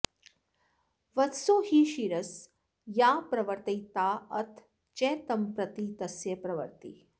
वत्सो हि क्षीरस्याप्रवर्तयिताऽथ च तं प्रति तस्य प्रवृत्तिः